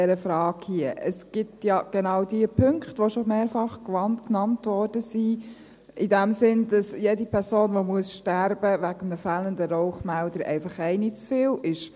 Es gibt ja diese Punkte, die schon mehrfach genannt wurden, in dem Sinne, dass jede Person, die wegen eines fehlenden Rauchmelders sterben muss, eine zu viel ist.